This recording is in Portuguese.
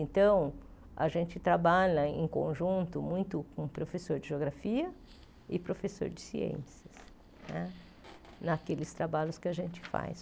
Então, a gente trabalha em conjunto muito com professor de geografia e professor de ciências né naqueles trabalhos que a gente faz.